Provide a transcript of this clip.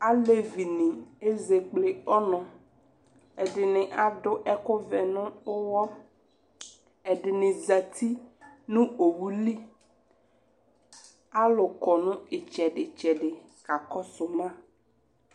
Alevinɩ ezekple ɔnʋ Ɛdɩnɩ adʋ ɛkʋvɛ nʋ ʋɣɔ Ɛdɩnɩ zati nʋ owu li Alʋ kɔ nʋ ɩtsɛdɩ-tsɛdɩ kakɔsʋ ma